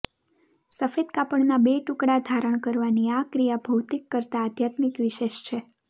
સફેદ કાપડના બે ટુકડા ધારણ કરવાની આ ક્રિયા ભૌતિક કરતા આઘ્યાત્મિક વિશેષ છે